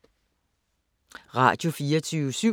Radio24syv